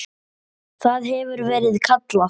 Það hefur verið kallað